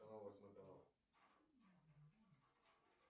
канал восьмой канал